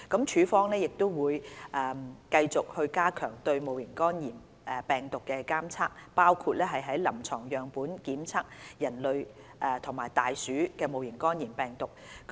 署方會繼續加強對戊型肝炎病毒的監測，包括於臨床樣本檢測人類及大鼠戊型肝炎病毒。